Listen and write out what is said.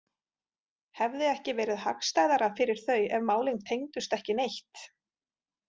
Hefði ekki verið hagstæðara fyrir þau ef málin tengdust ekki neitt?